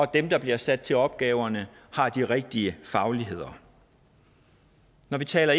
dem der bliver sat til opgaverne har de rigtige fagligheder når vi taler